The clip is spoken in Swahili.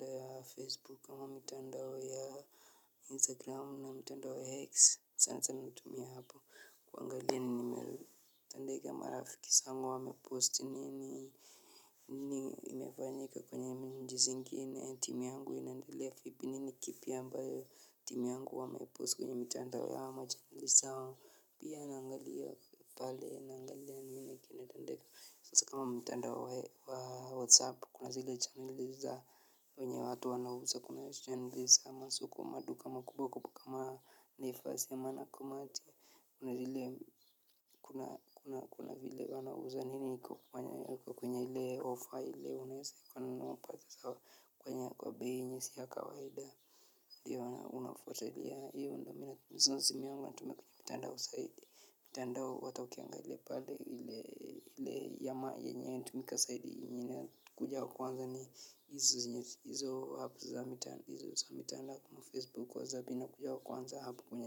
ya facebook ama mitandao ya instagram au na mtandao ya x sana sana natimia hapo. Kuangalia ni nimetandeka marafikisa angu wa mepost nini. Nini imefanyika kwenye nji singine timu yangu inandilea fipi nini kipi ambayo timu yangu wa mepost kwenye mitanda ya hama janalisao. Pia na angalia pale na angalia. Kama mtandao wa whatsapp kuna zile chaneli za wenye watu wanawuza kuna chanel iza masoko madu kama kubwa kama nefasi ama nakumat kuna zile kuna kuna kuna wanawuza nini kwa kwenye ili offer ili unaesa kwa nunuaa mpasa sawa kwenye kwa bini siya kawaida wana unafuatilia hiyo ndamina msuzi miangu natumekuja mtanda wa saidi tandao watakiangale pale ili yama yenye tumika saidi inyine kuja wakuanza ni izo apps za mitandao izo za mitana lakama facebook wa zabina kuja wakuanza hapu kunya.